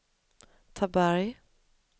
Taberg